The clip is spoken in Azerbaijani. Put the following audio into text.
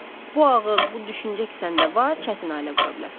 Bu ağıl, bu düşüncə ki səndə var, çətin ailə qura bilərsən.